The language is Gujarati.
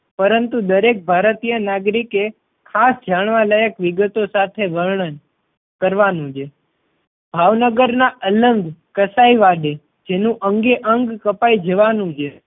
પરંતુ દરેક ભારતીય નાગરિકે ખાસ જાણવા લાયક વિગતો સાથે વર્ણન કરવાનું છે. ભાવનગર ના અલંગ કસાઈ વાડે જેનું અંગે અંગ કપાઈ જવાનુ છે